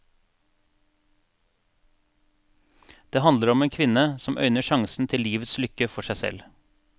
Den handler om en kvinne som øyner sjansen til livets lykke for seg selv.